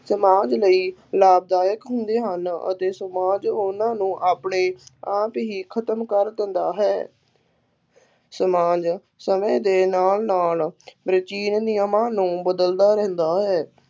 ਸਮਾਜ ਲਈ ਲਾਭਦਾਇਕ ਹੁੰਦੇ ਹਨ ਅਤੇ ਸਮਾਜ ਉਹਨਾ ਨੂੰ ਆਪਣੇ ਆਪ ਹੀ ਖਤਮ ਕਰ ਦਿੰਦਾ ਹੈ ਸਮਾਜ ਸਮੇਂ ਦੇ ਨਾਲ ਨਾਲ ਪ੍ਰਾਚੀਨ ਨਿਯਮਾਂ ਨੂੰ ਬਦਲਦਾ ਰਹਿੰਦਾ ਹੈ।